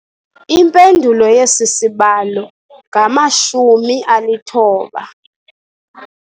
Impendulo yesi sibalo ngamashumi alithoba.